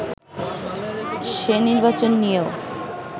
সে নির্বাচন নিয়েও